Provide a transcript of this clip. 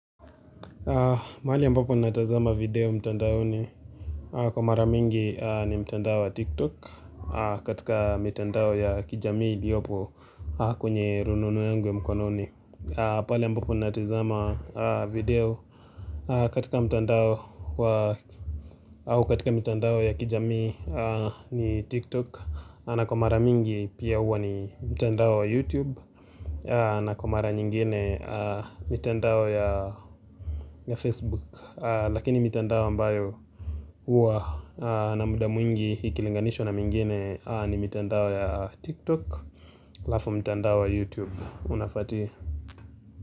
Mahali ambapo natazama video mtandaoni kwa mara mingi ni mtandao wa tiktok. Katika mtandao ya kijamii iliyopo kwenye rununu yangu ya mkononi. Pali ambapo natazama video katika mtandao wa au katika mtandao ya kijamii ni tiktok na kwa mara mingi pia huwa ni mtandao wa youtube, na kwa mara nyingine mtandao ya facebook Lakini mitandao ambayo huwa na muda mwingi ikilinganishwa na mwingine ni mitandao ya TikTok alafu mitandao wa YouTube. Unafati.